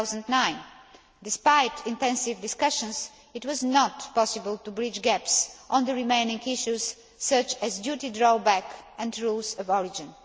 2009. Despite intensive discussions, it was not possible to bridge gaps on the remaining issues, such as duty drawback and rules of origin.